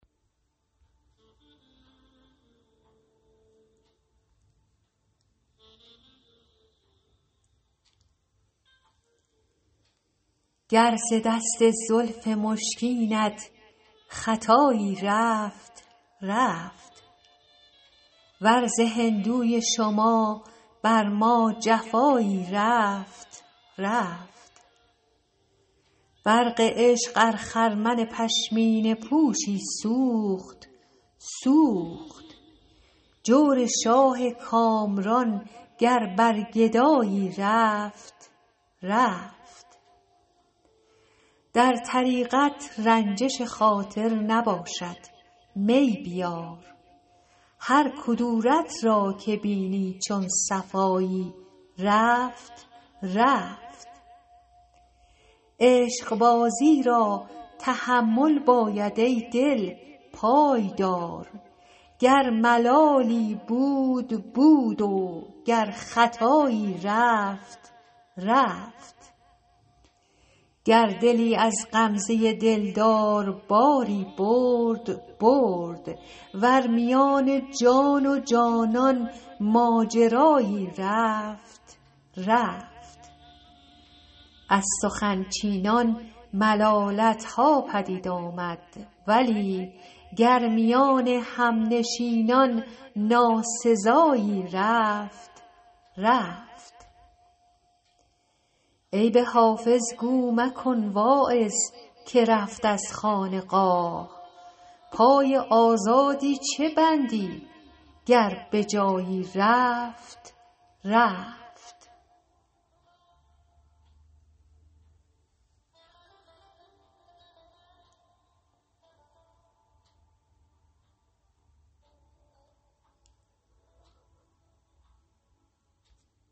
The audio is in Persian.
گر ز دست زلف مشکینت خطایی رفت رفت ور ز هندوی شما بر ما جفایی رفت رفت برق عشق ار خرمن پشمینه پوشی سوخت سوخت جور شاه کامران گر بر گدایی رفت رفت در طریقت رنجش خاطر نباشد می بیار هر کدورت را که بینی چون صفایی رفت رفت عشقبازی را تحمل باید ای دل پای دار گر ملالی بود بود و گر خطایی رفت رفت گر دلی از غمزه دلدار باری برد برد ور میان جان و جانان ماجرایی رفت رفت از سخن چینان ملالت ها پدید آمد ولی گر میان همنشینان ناسزایی رفت رفت عیب حافظ گو مکن واعظ که رفت از خانقاه پای آزادی چه بندی گر به جایی رفت رفت